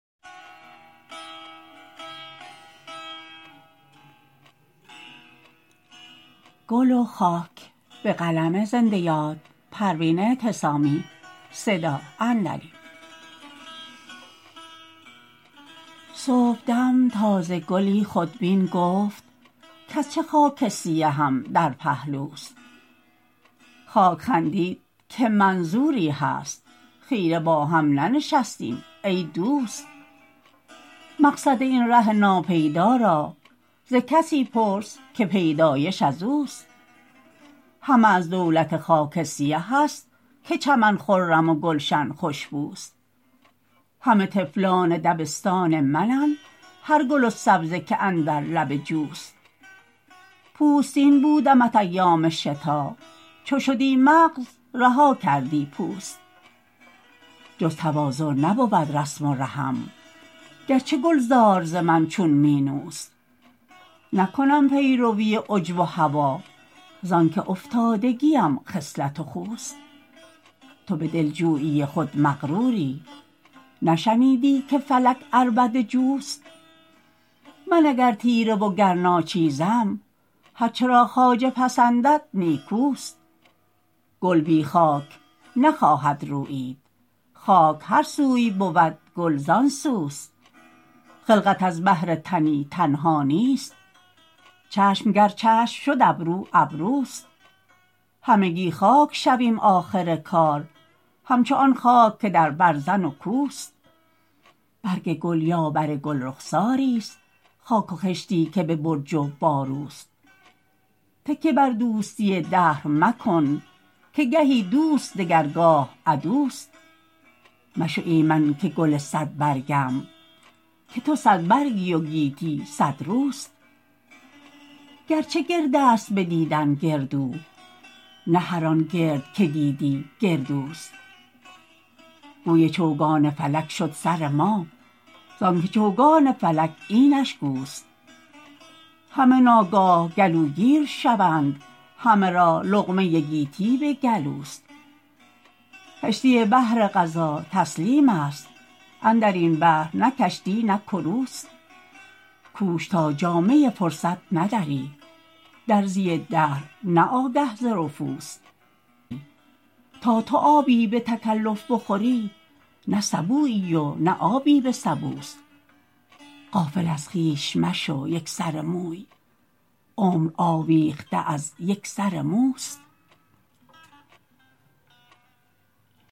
صبحدم تازه گلی خودبین گفت کاز چه خاک سیهم در پهلوست خاک خندید که منظوری هست خیره با هم ننشستیم ای دوست مقصد این ره ناپیدا را ز کسی پرس که پیدایش ازوست همه از دولت خاک سیه است که چمن خرم و گلشن خوشبوست همه طفلان دبستان منند هر گل و سبزه که اندر لب جوست پوستین بودمت ایام شتا چو شدی مغز رها کردی پوست جز تواضع نبود رسم و رهم گرچه گلزار ز من چون مینوست نکنم پیروی عجب و هوی زانکه افتادگیم خصلت و خوست تو بدلجویی خود مغروری نشنیدی که فلک عربده جوست من اگر تیره و گر ناچیزم هر چه را خواجه پسندد نیکوست گل بی خاک نخواهد رویید خاک هر سوی بود گل زانسوست خلقت از بهر تنی تنها نیست چشم گر چشم شد ابرو ابروست همگی خاک شویم آخر کار همچو آن خاک که در برزن و کوست برگ گل یا بر گلرخساری است خاک و خشتی که به برج و باروست تکیه بر دوستی دهر مکن که گهی دوست دگر گاه عدوست مشو ایمن که گل صد برگم که تو صد برگی و گیتی صد روست گرچه گرد است بدیدن گردو نه هر آن گرد که دیدی گردوست گوی چوگان فلک شد سر ما زانکه چوگان فلک اینش گوست همه ناگاه گلوگیر شوند همه را لقمه گیتی به گلوست کشتی بحر قضا تسلیم است اندرین بحر نه کشتی نه کروست کوش تا جامه فرصت ندری درزی دهر نه آگه ز رفوست تا تو آبی به تکلف بخوری نه سبویی و نه آبی به سبوست غافل از خویش مشو یک سر موی عمر آویخته از یک سر موست